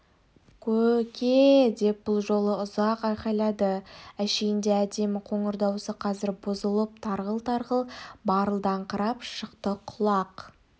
кө-ө-ке-е-е деп бұ жолы ұзақ айқайлады әшейінде әдемі қоңыр дауысы қазір бұзылып тарғыл-тарғыл барылдаңқырап шықты құлақ